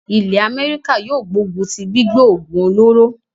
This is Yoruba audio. ilẹ́ Améríkà yóò gbógun tí gbígbé òògùn olóró.